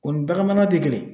O ni baganmara tɛ kelen